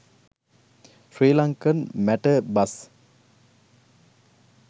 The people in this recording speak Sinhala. sri lankan matara bus